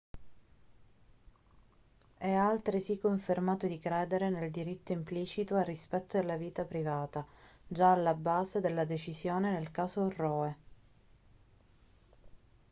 e ha altresì confermato di credere nel diritto implicito al rispetto della vita privata già alla base della decisione nel caso roe